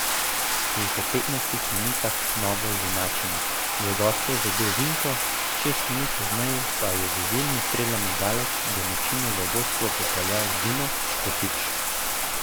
Že po petnajstih minutah novo izenačenje, za goste je zadel Vinko, šest minut pozneje pa je z izjemnim strelom od daleč domačine v vodstvo popeljal Dino Hotić.